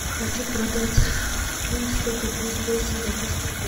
хочу продать фунт сколько будет стоить сингапурских